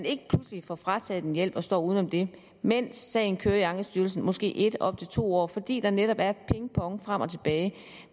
ikke pludselig får frataget en hjælp og står uden den mens sagen kører i ankestyrelsen i måske en eller op til to år fordi der netop er pingpong frem og tilbage